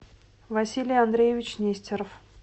василий андреевич нестеров